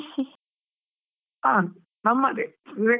ಹಾ, ನಮ್ಮದೇ Viveka .